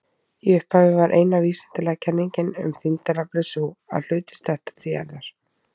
Í upphafi var eina vísindalega kenningin um þyngdaraflið sú að hlutir detta til jarðar.